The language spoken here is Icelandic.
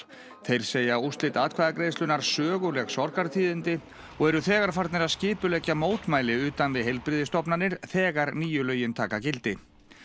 þeir segja úrslit atkvæðagreiðslunnar söguleg sorgartíðindi og eru þegar farnir að skipuleggja mótmæli utan við heilbrigðisstofnanir þegar nýju lögin taka gildi